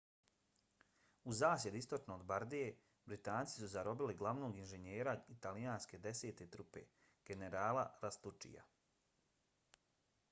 u zasjedi istočno od bardije britanci su zarobili glavnog inženjera italijanske desete trupe generala lastuccija